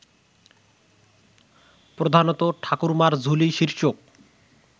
প্রধানত ঠাকুরমার ঝুলি শীর্ষক